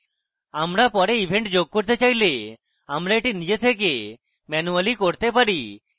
আমরা পরে event যোগ করতে চাইলে আমরা এটি নিজে থেকে ম্যানুয়ালি করতে পারি